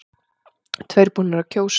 Tveir búnir að kjósa